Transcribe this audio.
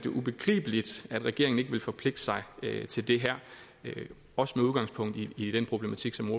ubegribeligt at regeringen ikke ville forpligte sig til det her også med udgangspunkt i i den problematik som